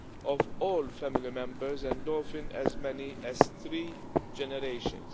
of all family members and often as many as three generations.